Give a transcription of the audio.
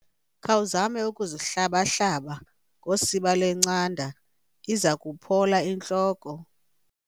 Khawuzame ukuzihlaba-hlaba ngosiba lwencanda iza kuphola intloko.